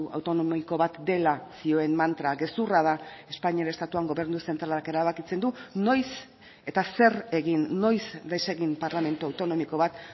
autonomiko bat dela zioen mantra gezurra da espainiar estatuan gobernu zentralak erabakitzen du noiz eta zer egin noiz desegin parlamentu autonomiko bat